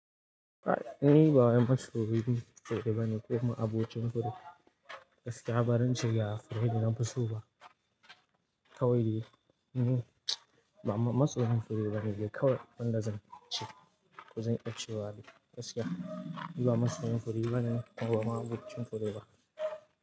Ai, ni ba wai masoyin fure bane ko ma abocin fure. Gaskiya, barance ga fure da nafi so ba. Kawai ni, ba masoyin fure bane, kawai abunda zance ko zan iya cewa Gaskiya, ni ba masoyin fure bane ko ba ma'abocin fure ba.